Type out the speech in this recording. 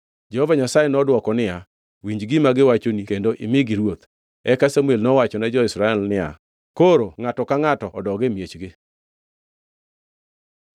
Jehova Nyasaye nodwoko niya, “Winj gima giwachoni kendo imigi ruoth.” Eka Samuel nowachone jo-Israel niya, “Koro ngʼato ka ngʼato odog e miechgi.”